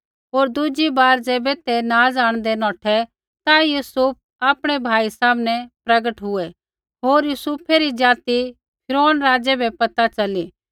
होर दुज़ी बार ज़ैबै ते नाज़ आंणदै नौठै ता यूसुफ आपणै भाई सामनै प्रगट हुए होर यूसुफै री ज़ाति फिरौन राज़ै बै पैता च़ली